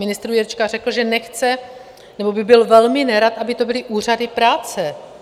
Ministr Jurečka řekl, že nechce, nebo by byl velmi nerad, aby to byly úřady práce.